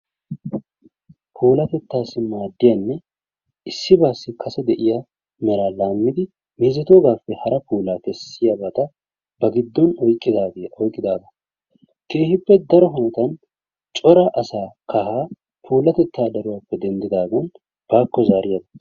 Puulatettaassi maaddiyanne issibaassi kase de'iya meraa laammidi meezetoogaappe hara puulaa kessiyabata ba giddon oyqqidaagaa. Keehippe daro hanotan cora asaa puulatettaa daruwappe denddidaagan baakko zaariyagaa.